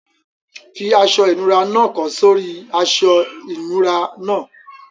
Fi aṣọ ìnura náà kọ́ sórí i aṣọ ìnura náà.